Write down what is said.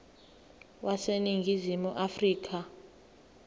wase ningizimu afrika